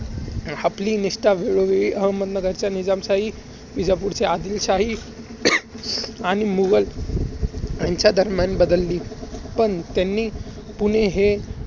आपली निष्ठा वेळोवेळी अहदनगरच्या निजामशाही आणि विजापूरच्या आदिलशाही आणि मुघल ह्यांच्या दरम्यान बदलली होती. पण त्यांनी पुणे हे